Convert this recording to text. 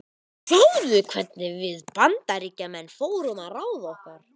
Og sjáðu hvernig við Bandaríkjamenn fórum að ráði okkar.